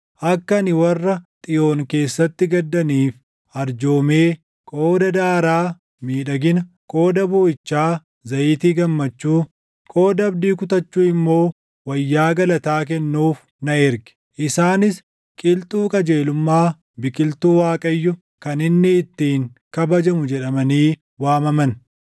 akka ani warra Xiyoon keessatti gaddaniif arjoomee, qooda daaraa miidhagina, qooda booʼichaa, zayitii gammachuu, qooda abdii kutachuu immoo, wayyaa galataa kennuuf na erge. Isaanis qilxuu qajeelummaa, biqiltuu Waaqayyo, kan inni ittiin kabajamu jedhamanii waamaman.